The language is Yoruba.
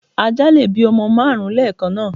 Ajá lè bí ọmọ márùn ún lẹ́kànáà